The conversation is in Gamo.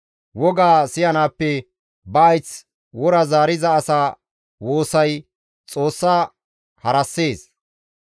Wogaa siyanaappe ba hayth wora zaariza asa woosay Xoossa harassees.